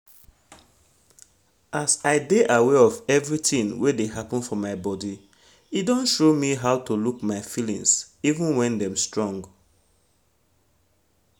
as i de aware of everything wen de happen for my body e don show me how to look my feelings even when dem strong